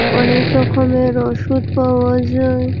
অনেক রকমের ওষুধ পায় যায়।